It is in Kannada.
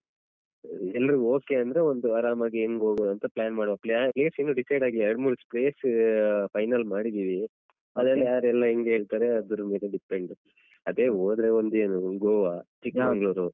ಎಲ್ಲರೂ okay ಅಂದ್ರೆ ಒಂದು ಆರಾಮಾಗಿ ಹೆಂಗು ಹೋಗುವ ಅಂತ plan ಮಾಡುವ place ಇನ್ನು decide ಆಗಿಲ್ಲ ಎರಡು ಮೂರು plan final ಮಾಡಿದ್ದೀವಿ ಅದ್ರಲ್ಲಿ ಯಾರೆಲ್ಲ ಹೆಂಗೆಲ್ಲಾ ಹೇಳ್ತಾರೆ ಅದ್ರ ಮೇಲೆ depend ಅದೇ ಹೋದ್ರೆ ಒಂದೇನು ಗೋವಾ ಚಿಕ್ಮಂಗ್ಲೂರು.